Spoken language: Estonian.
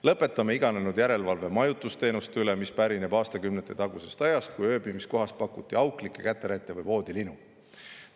Lõpetame iganenud järelevalve majutusteenuste üle, mis pärineb aastakümnete tagusest ajast, kui ööbimiskohas pakuti auklikke käterätte või voodilinu.